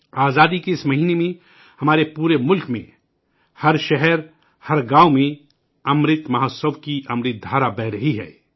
آزادی کے اس مہینے میں، ہمارے پورے ملک میں، ہر شہر، ہر گاؤں میں، امرت مہوتسو کی امرت دھارا بہہ رہی ہے